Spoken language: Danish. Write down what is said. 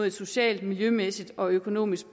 et socialt miljømæssigt og økonomisk